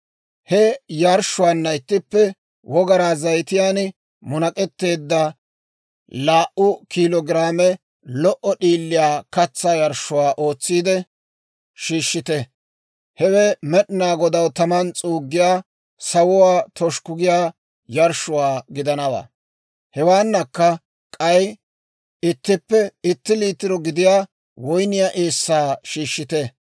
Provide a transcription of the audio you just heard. He yarshshuwaanna ittippe wogaraa zayitiyaan munak'etteedda laa"u kiilo giraame lo"o d'iiliyaa katsaa yarshshuwaa ootsiide shiishshite; hewe Med'inaa Godaw taman s'uuggiyaa, sawuwaa toshukku giyaa yarshshuwaa gidanawaa; hewaanakka k'ay ittippe itti liitiro gidiyaa woyniyaa eessaa shiishshite.